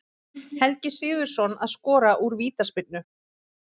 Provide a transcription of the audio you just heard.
Helgi Sigurðsson að skora úr vítaspyrnu.